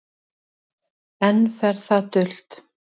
Enn fer það dult